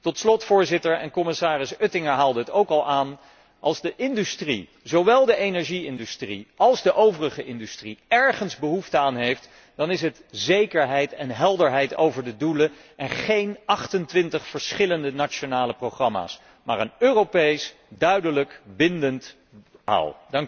Tot slot, Voorzitter, en commissaris Oettinger haalde het ook al aan als de industrie, zowel de energie industrie als de overige industrie, ergens behoefte aan heeft, dan is aan het zekerheid en helderheid over de doelen en niet aan 28 verschillende nationale programma's, maar aan een Europees, duidelijk, bindend verhaal.